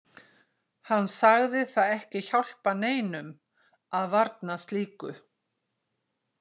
Hann sagði það ekki hjálpa neinum að varna slíku.